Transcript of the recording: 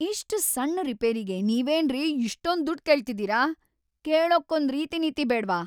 ಇಷ್ಟ್ ಸಣ್ಣ್ ರಿಪೇರಿಗೆ ನೀವೇನ್ರಿ ಇಷ್ಟೊಂದ್‌ ದುಡ್ಡ್ ಕೇಳ್ತಿದೀರ?! ಕೇಳಕ್ಕೊಂದ್‌ ರೀತಿನೀತಿ ಬೇಡ್ವಾ?!